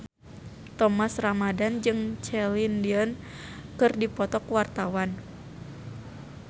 Thomas Ramdhan jeung Celine Dion keur dipoto ku wartawan